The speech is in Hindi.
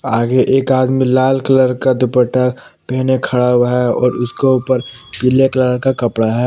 आगे एक आदमी लाल कलर का दुपट्टा पीने खड़ा हुआ है और उसको ऊपर पीले कलर का कपड़ा है।